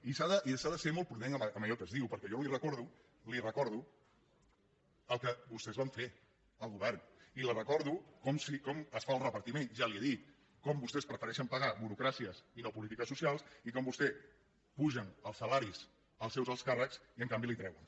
i s’ha de ser molt prudent en allò que es diu perquè jo li recordo el que vostès van fer al govern i li recordo com està el repartiment ja li ho he dit com vostès prefereixen pagar burocràcies i no polítiques socials i com vostès apugen els salaris als seus alts càrrecs i en canvi li treuen